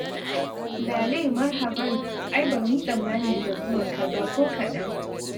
Lale marhaban! Ai ba mu yi tsammani da zuwanka ba ko kaɗan.